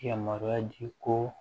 Yamaruya di ko